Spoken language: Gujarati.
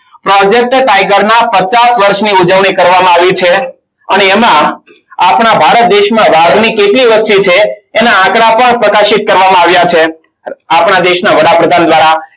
Project tiger ના પચાસ વર્ષની ઉજવણી કરવામાં આવી છે અને એમાં આપણા ભારત દેશમાં વાદળી કેટલી લખ્યું છે એના આંકડા પણ પ્રકાશિત કરવામાં આવ્યા છે. આપણા દેશના વડાપ્રધાન દ્વારા